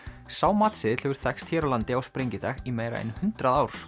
sá matseðill hefur þekkst hér á landi á sprengidag í meira en hundrað ár